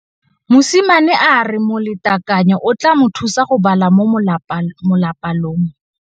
Mosimane a re molatekanyô o tla mo thusa go bala mo molapalong.